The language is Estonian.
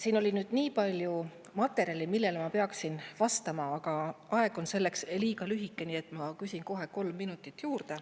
Siin oli nii palju materjali, millele ma peaksin vastama, aga aeg on selleks liiga lühike, nii et ma küsin kohe kolm minutit juurde.